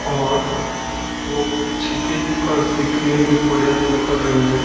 और वो कुछ देखकर सीखने के प्रयत्न कर रही है।